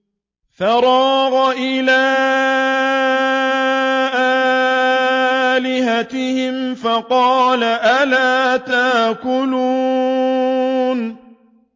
فَرَاغَ إِلَىٰ آلِهَتِهِمْ فَقَالَ أَلَا تَأْكُلُونَ